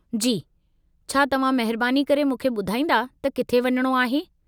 जी, छा तव्हां महिरबानी करे मूंखे ॿुधाईंदा त किथे वञणो आहे?